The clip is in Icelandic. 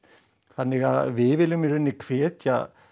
þannig að við viljum í rauninni hvetja